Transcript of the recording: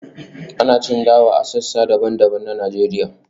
ana cin dawa a sassa daban-daban na Najeriya